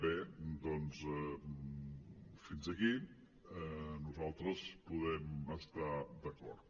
bé doncs fins aquí nosaltres podem estar·hi d’acord